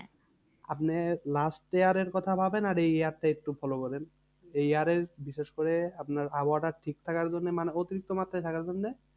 আপনি last year এর কথা ভাবেন আর এই year টা একটু follow করেন। এই year এ বিশেষ করে আপনার আবহাওয়াটা ঠিক থাকার জন্যে মানে অতিরিক্ত মাত্রায় থাকার জন্যে